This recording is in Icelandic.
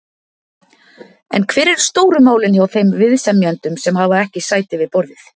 En hver eru stóru málin hjá þeim viðsemjendum sem hafa ekki sæti við borðið?